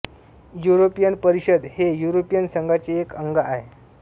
European परिषद हे European संघाचे एक अंग आहे